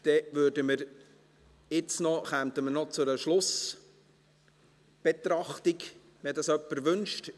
Dann kämen wir jetzt noch zu einer Schlussbetrachtung, wenn dies jemand wünscht.